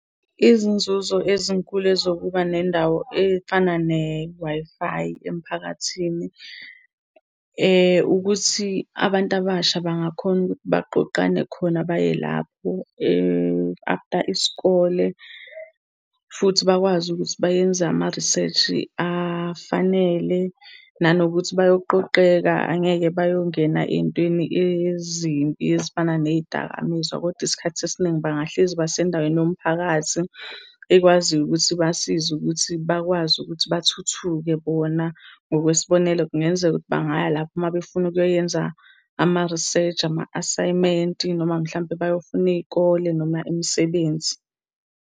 Izinzuzo ezinkulu ezokuba nendawo efana ne-Wi-Fi emphakathini, ukuthi abantu abasha bangakhona ukuthi baqoqane khona baye lapho, after isikole. Futhi bakwazi ukuthi bayenze ama-research afanele. Nanokuthi bayoqoqeka angeke bayongena ey'ntweni ezimbi ezifana ney'dakamizwa, kodwa isikhathi esiningi bangahlezi basendaweni yomphakathi ekwaziyo ukuthi ibasize ukuthi bakwazi ukuthi bathuthuke bona. Ngokwesibonelo, kungenzeka ukuthi bangaya lapho uma befuna ukuyoyenza ama-research, ama-asayimenti, noma mhlampe bayofuna iy'kole noma imisebenzi.